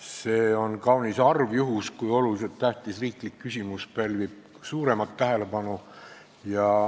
See on kaunis harv juhtum, kui oluliselt tähtis riiklik küsimus pälvib suuremat tähelepanu.